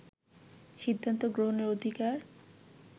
সিদ্ধান্ত গ্রহণের অধিকার